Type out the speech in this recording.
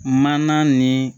Mana ni